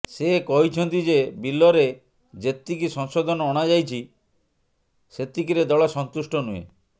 ସେ କହିଛନ୍ତି ଯେ ବିଲରେ ଯେତିକି ସଂଶୋଧନ ଅଣାଯାଇଛି ସେତିକିରେ ଦଳ ସନ୍ତୁଷ୍ଟ ନୁହେଁ